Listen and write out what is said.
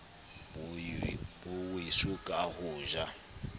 bo weso ka ho ja